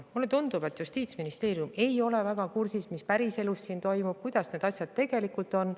Mulle tundub, et Justiitsministeerium ei ole väga kursis sellega, mis päriselus toimub, kuidas asjad tegelikult on.